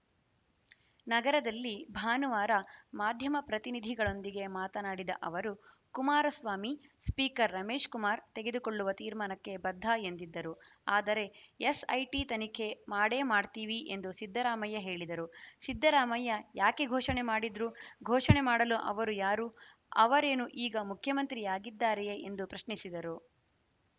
ನಗರದಲ್ಲಿ ಭಾನುವಾರ ಮಾಧ್ಯಮ ಪ್ರತಿನಿಧಿಗಳೊಂದಿಗೆ ಮಾತನಾಡಿದ ಅವರು ಕುಮಾರಸ್ವಾಮಿ ಸ್ಪೀಕರ್‌ ರಮೇಶ್‌ ಕುಮಾರ್‌ ತೆಗೆದುಕೊಳ್ಳುವ ತೀರ್ಮಾನಕ್ಕೆ ಬದ್ಧ ಎಂದಿದ್ದರು ಆದರೆ ಎಸ್‌ಐಟಿ ತನಿಖೆ ಮಾಡೇ ಮಾಡ್ತೀವಿ ಎಂದು ಸಿದ್ದರಾಮಯ್ಯ ಹೇಳಿದರು ಸಿದ್ದರಾಮಯ್ಯ ಯಾಕೆ ಘೋಷಣೆ ಮಾಡಿದ್ರು ಘೋಷಣೆ ಮಾಡಲು ಅವರು ಯಾರು ಅವರೇನು ಈಗ ಮುಖ್ಯಮಂತ್ರಿಯಾಗಿದ್ದಾರೆಯೇ ಎಂದು ಪ್ರಶ್ನಿಸಿದರು